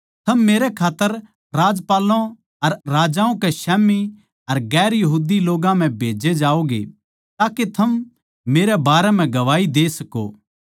थम मेरै खात्तर राज्यपालों अर राजाओं के स्याम्ही अर गैर यहूदी लोग्गां म्ह भेजे जाओगें ताके थम मेरे बारें म्ह गवाही दे सको